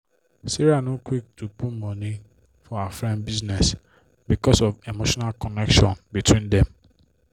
sarah no quick to put money for her friend business because of emotional connection between dem